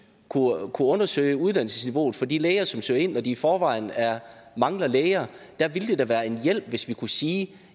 kunne undersøge uddannelsesniveauet for de læger som søger ind når de i forvejen mangler læger det ville da være en hjælp hvis vi kunne sige